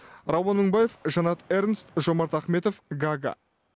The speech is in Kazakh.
рауан мыңбаев жанат эрнст жомарт ахметов гага